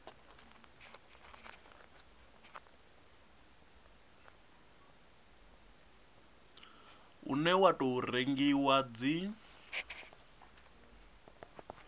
une wa tou rengiwa dzi